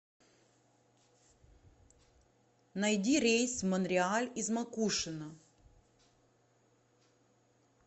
найди рейс в монреаль из макушино